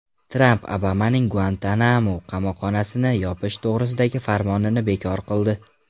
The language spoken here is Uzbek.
Tramp Obamaning Guantanamo qamoqxonasini yopish to‘g‘risidagi farmonini bekor qildi.